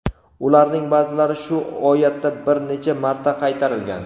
Ularning ba’zilari shu oyatda bir necha marta qaytarilgan.